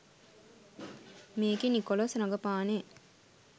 මේකේ නිකොලස් රඟපානේ